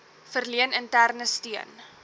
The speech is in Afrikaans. verleen interne steun